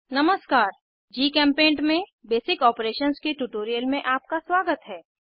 नमस्कार जीचेम्पेंट में basic operations के ट्यूटोरियल में आपका स्वागत है